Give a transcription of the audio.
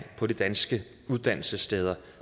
på de danske uddannelsessteder